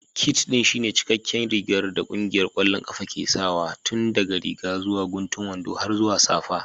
Kit ɗin shine cikakken rigar da ƙungiyar ƙwallon ƙafa ke sawa tun daga riga zuwa guntun wando har zuwa safa.